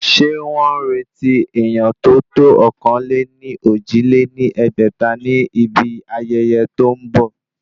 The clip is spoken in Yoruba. Ṣé wọ́n ń retí èèyán tó tó ọ̀kan-lé-ní-ojì lé ní ẹgbẹ́ta ni ibi ayẹyẹ tó ń bọ̀?